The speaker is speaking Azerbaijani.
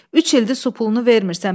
Üç ildir su pulunu vermirsən.